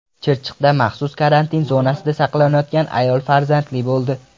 Chirchiqda maxsus karantin zonasida saqlanayotgan ayol farzandli bo‘ldi .